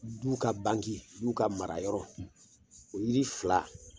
Du ka bangeu n'u ka mara yɔrɔ o yiri fila